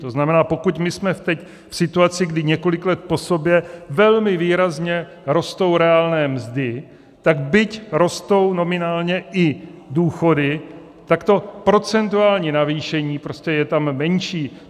To znamená, pokud my jsme teď v situaci, kdy několik let po sobě velmi výrazně rostou reálné mzdy, tak byť rostou nominálně i důchody, tak to procentuální navýšení prostě je tam menší.